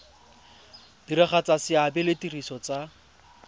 diragatsa seabe le ditiro tsa